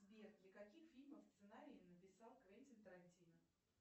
сбер для каких фильмов сценарии написал квентин тарантино